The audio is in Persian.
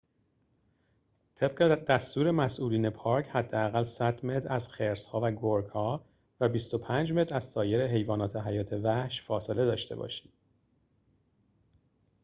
طبق دستور مسئولین پارک حداقل ۱۰۰ متر از خرس‌ها و گرگ‌ها و ۲۵ متر از سایر حیوانات حیات وحش فاصله داشته باشید